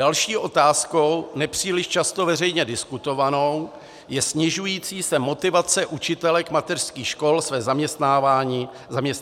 Další otázkou, nepříliš často veřejně diskutovanou, je snižující se motivace učitelek mateřských škol své zaměstnání vykonávat.